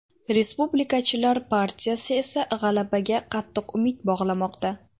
Respublikachilar partiyasi esa g‘alabaga qattiq umid bog‘lamoqda.